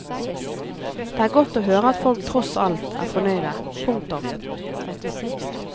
Det er godt å høre at folk tross alt er fornøyde. punktum